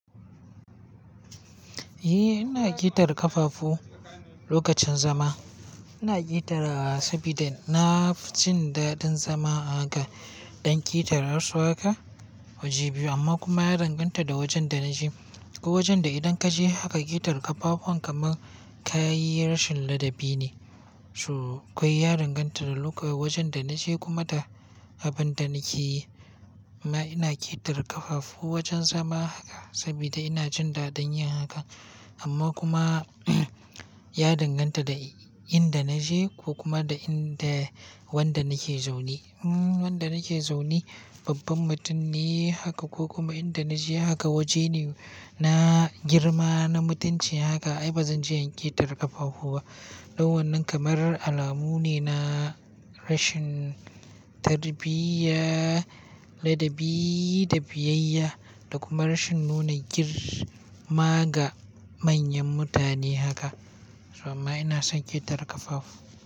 Eh, ina ƙetare ƙafafu lokacin zama. Ina ƙetarawa sabida nafi jin daɗin zama a ga. Ɗan ƙetare wasu haka waje biyu amma kuma ya danganta da wajen da naje. Ko wajen da idan ka je haka ƙetare ƙafafuwan kamar ka yi rashin ladabi ne. So, kawai ya danganta da wajen da naje kuma da abin da nake yi. Amma ina ƙetare ƙafafu wajen zama haka sabida ina jin daɗin yin haka. Amma kuma ya danganta da inda naje ko kuma da wanda nake zaune. Hmm, wanda nake zaune babban mutum ne haka ko kuma inda naje haka waje ne na girma, na mutunci haka ai bazan je in ƙetare ƙafafu ba. Dan wannan kamar alamu ne na rashin tarbiyya, ladabi da biyayya da kuma rashin nuna girma ga manyan mutane haka. So amma ina son ƙetare ƙafafu.